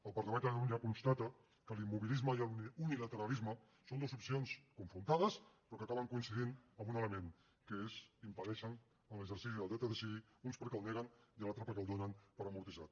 el parlament de catalunya constata que l’immobilisme i l’unilateralisme són dues opcions confrontades però que acaben coincidint en un element que és impedeixen l’exercici del dret a decidir uns perquè el neguen i els altres perquè el donen per amortitzat